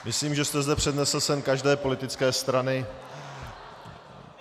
Myslím, že jste zde přednesl sen každé politické strany.